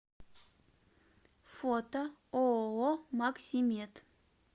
фото ооо максимед